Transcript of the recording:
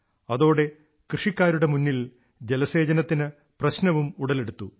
അതോടെ കൃഷിക്കാരുടെ മുന്നിൽ ജലസേചനത്തിന് പ്രശ്നവും ഉടലെടുത്തു